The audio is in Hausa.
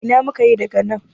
Ina muka yi daga nan?